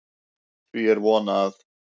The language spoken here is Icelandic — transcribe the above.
Því er von, að